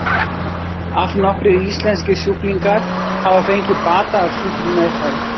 Allnokkrir íslenskir sjúklingar hafa fengið bata af slíkri meðferð.